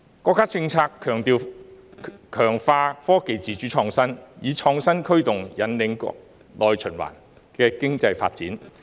國家政策強調強化科技自主創新，以創新驅動引領內循環的經濟發展。